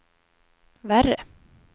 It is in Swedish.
värre